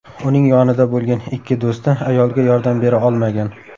Uning yonida bo‘lgan ikki do‘sti ayolga yordam bera olmagan.